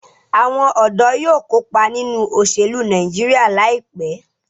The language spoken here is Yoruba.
Awon ọdọ yóò kopa ninu oselu Nàìjíríà laipe